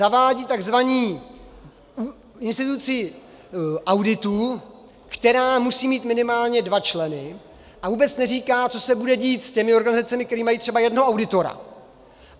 Zavádí tzv. instituci auditu, která musí mít minimálně dva členy, a vůbec neříká, co se bude dít s těmi organizacemi, které mají třeba jednoho auditora.